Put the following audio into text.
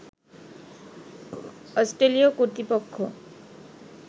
অস্ট্রেলীয় কর্তৃপক্ষ